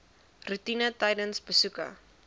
roetine tydens besoeke